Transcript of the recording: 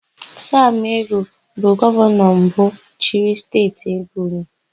Samụ Egwu bụ gọvanọ mbụ chịrị Steeti Ebonyi.